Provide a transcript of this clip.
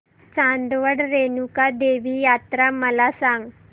चांदवड रेणुका देवी यात्रा मला सांग